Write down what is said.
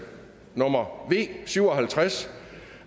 nummer v syv og halvtreds